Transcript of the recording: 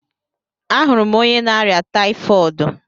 A hụrụ m onye na-arịa tayifọọdu